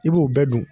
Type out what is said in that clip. I b'o bɛɛ dun